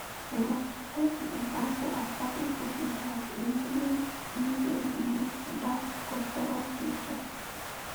we must to set di example as public officials in leading leading di way to dat prosperous future